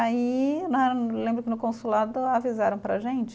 Aí né, lembro que no consulado avisaram para a gente,